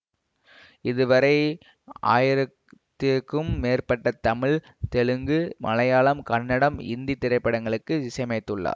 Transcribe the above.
இதுவரை ஆயிரத்திற்கும் மேற்பட்ட தமிழ் தெலுங்கு மலையாளம் கன்னடம் இந்தி திரைப்படங்களுக்கு இசையமைத்துள்ளார்